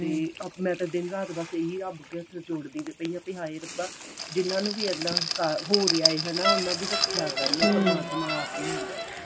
ਤੇ ਆਪਣਾ ਤਾਂ ਦਿਨ ਰਾਤ ਬੱਸ ਇਹੀ ਰੱਬ ਅੱਗੇ ਹੱਥ ਜੋੜਦੀ ਆ ਪਈ ਆਂ ਵੀ ਹਾਏ ਰੱਬਾ ਜਿਹਨਾ ਨੂੰ ਵੀ ਏਦਾਂ ਬੁਖਾਰ ਹੋ ਰਿਹਾ ਉਹਨਾ ਦੀ ਰੱਖਿਆ ਕਰਨੀ ਪਰਮਾਤਮਾ ਆਪੇ ਹੀ ਹਨਾ